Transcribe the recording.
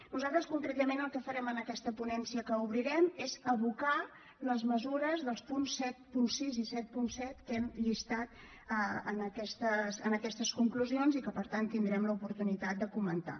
nosaltres concretament el que farem en aquesta ponència que obrirem és abocar les mesures dels punts setanta sis i setanta set que hem llistat en aquestes conclusions i que per tant tindrem l’oportunitat de comentar